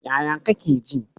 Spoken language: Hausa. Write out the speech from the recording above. Yaya kake ji?